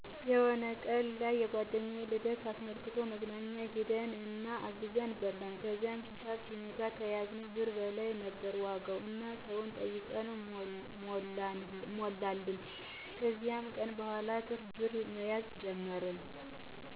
የሆነ ቀን ላይ የጓደኛዬን ልደት አስመልክቶ መዝናኛ ሄድን እና አዘን በላን። ከዛም ሂሳብ ሲመጣ ከያዝነው ብር በላይ ነበር ዋጋው እና ሰው ጠይቀን ሞሉልን። ከዚ ቀን በኋላ ትርፍ ብር መያዝ ጀመርን።